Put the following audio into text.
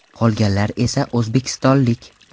Qolganlar esa o‘zbekistonlik.